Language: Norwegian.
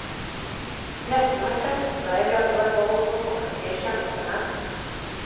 Retten har festet seg ved at det var vold mot offentlige tjenestemenn.